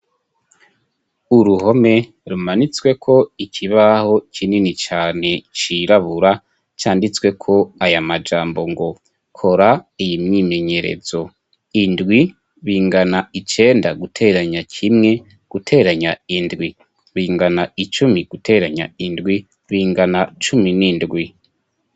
Uruhome rumanitswe ko ikibaho kinini cane cirabura canditswe ko aya majambo ngo kora iyi myimenyerezo indwi bingana icenda guteranya kimwe guteranya indwi bingana icumi guteranya indwi bingana cumi n'indwi.